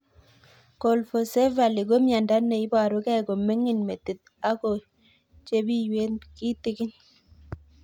Colpocephaly ko miondo ne iparukei ko mining metit ak ko chepiywet kitig'in